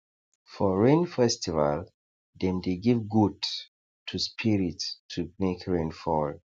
for rain festival dem dey give goat to spirit to make rain fall